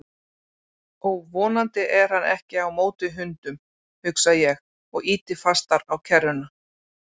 Ó, vonandi er hann ekki á móti hundum, hugsa ég og ýti fastar á kerruna.